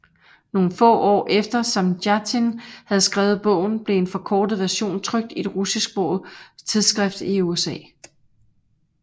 Nogle få år efter Samjatin havde skrevet bogen blev en forkortet version trykt i et russisksproget tidsskrift i USA